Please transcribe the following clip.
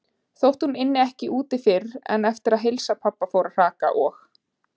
Þótt hún ynni ekki úti fyrr en eftir að heilsu pabba fór að hraka og-